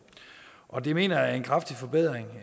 og det mener jeg er en kraftig forbedring